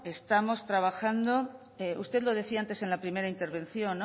estamos trabajando usted lo decía antes en la primera intervención no